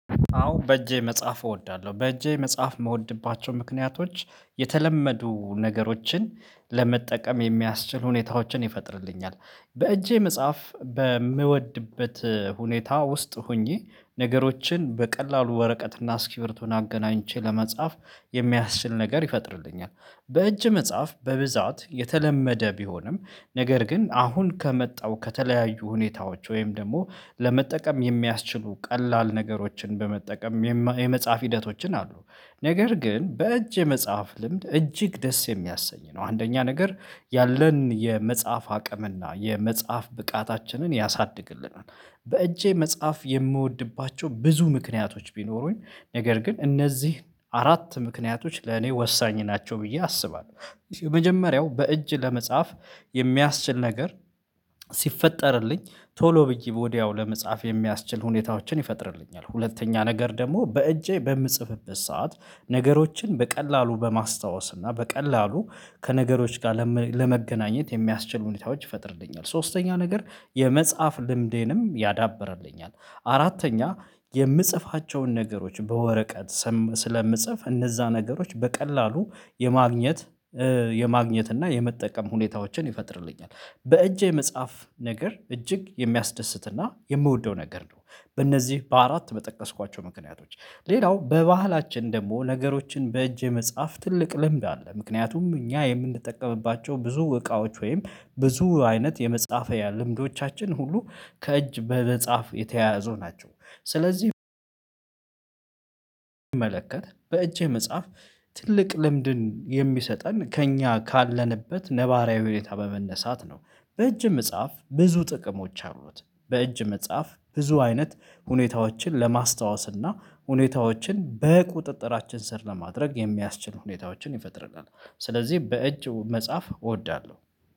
አዎ በእጄ መጻፍ እወዳለሁ በእጄ መጻፍ የምወድባቸው ምክንያቶች የተለመዱ ነገሮችን ለመጠቀም የሚያስችል ሁኔታዎችን ይፈጥርልኛል። በእጄ መጻፍ በምወድበት ሁኔታ ውስጥ ሆኜ ነገሮችን በቀላሉ ወረቀት እና እስኪብርቶን አገናኝቼ ለመጻፍ የሚያስችል ነገር ይፈጥርልኛል። በእጅ መጻፍ በብዛት የተለመደ ቢሆንም ነገር ግን አሁን ከመጣው ከተለያዩ ሁኔታዎች ወይም ደግሞ ለመጠቀም የሚያስችሉ ቀላል ነገሮችን በመጠቀም የመጻፍ ሂደቶችን አሉ ነገር ግን በእጅ የመጻፍ ልምድ እጅግ ደስ የሚያሰኝ ነው አንደኛ ነገር ያለን የመጻፍ አቅምና የመጻፍ ብቃታችንን ያሳድግልናል። በእጄ መጻፍ የምወድባቸው ብዙ ምክንያቶች ቢኖሩኝ ነገር ግን እነዚህን አራት ምክንያቶች ለኔ ወሳኝ ናቸው ብዬ አስባለሁ። የመጀመሪያው በእጅ ለመጻፍ የሚያስችል ነገር ሲፈጠርልኝ ቶሎ ብዬ ወዲያው ለመጻፍ የሚያስችል ሁኔታዎችን ይፈጥርልኛል። ሁለተኛ ነገር ደግሞ በእጄ በምጽፍበት ሰዓት ነገሮችን በቀላሉ በማስታወስ እና በቀላሉ ከነገሮች ጋር ለመገናኘት የሚያስችሉ ሁኔታዎች ይፈጥርልኛል። ሶስተኛ ነገር የመጻፍ ልምዴንም ያዳብርልኛል። አራተኛ የምጽፋቸውን ነገሮች በወረቀት ስለምጽፍ እነዛ ነገሮች በቀላሉ የማግኘት የማግኘት እና የመጠቀም ሁኔታዎችን ይፈጥርልኛል። በእጄ መጻፍ ነገር እጅግ የሚያስደስትና የምወደው ነገር ነው። በእነዚህ በአራት በጠቀስኳቸው ምክንያቶች ሌላው በባህላችን ደግሞ ነገሮችን በእጅ የመጻፍ ትልቅ ልምድ አለ ምክንያቱም እኛ የምንጠቀምባቸው ብዙ እቃዎች ወይም ብዙ አይነት የመጻፍያ ልምዶቻችን ሁሉ ከእጅ በመጻፍ የተያያዘው ናቸው። ስለዚህ ልምድን የሚሰጠን ከእኛ ካለንበት ነባራዊ ሁኔታ በመነሳት ነው። በእጅ መጻፍ ብዙ ጥቅሞች አሩት በእጅ መጻፍ ብዙ አይነት ሁኔታዎችን ለማስታወስ እና ሁኔታዎችን በቁጥጥራችን ስር ለማድረግ የሚያስችል ሁኔታዎችን ይፈጥራል። ስለዚህ በእጅ መጻፍ እወዳለሁ